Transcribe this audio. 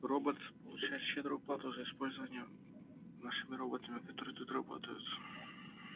роботс получает щедрую плату за использование нашими роботами которые тут работают